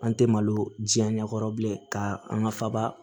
An tɛ malo diɲɛ ɲɛkɔrɔ bilen ka an ka faaba